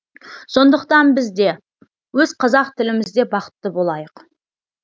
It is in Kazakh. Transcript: сондықтан біз де өз қазақ тіліміз де бақытты болайық